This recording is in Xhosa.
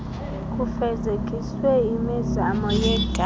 kufezekiswe imizamo yekapa